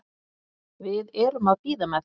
Við erum að bíða með það.